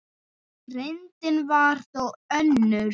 Reyndin var þó önnur.